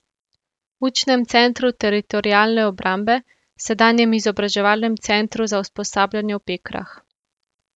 Učnem centru Teritorialne obrambe, sedanjem Izobraževalnem centru za usposabljanje v Pekrah.